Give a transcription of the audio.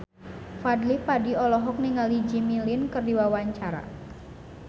Fadly Padi olohok ningali Jimmy Lin keur diwawancara